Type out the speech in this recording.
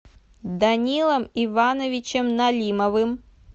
данилом ивановичем налимовым